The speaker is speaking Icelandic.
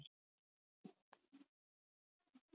Til eru önnur hnitakerfi en rétthyrnd.